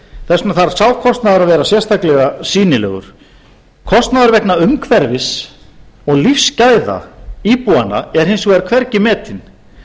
þess vegna þarf sá kostnaður að vera sérstaklega sýnilegur kostnaður vegna umhverfis og lífsgæða íbúanna er hins vegar hvergi metinn